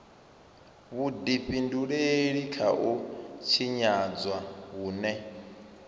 vhudifhinduleli kha u tshinyadzwa hune